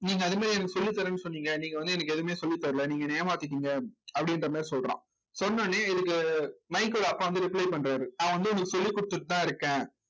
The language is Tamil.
நீங்க அது மாதிரி எனக்கு சொல்லித்தரேன்னு சொன்னீங்க நீங்க வந்து எனக்கு எதுவுமே சொல்லித்தரல நீங்க என்னை ஏமாத்திட்டீங்க அப்படின்ற மாதிரி சொல்றான் சொன்ன உடனே இதுக்கு மைக்கோட அப்பா வந்து reply பண்றாரு நான் வந்து உனக்கு சொல்லி கொடுத்துட்டுதான் இருக்கேன்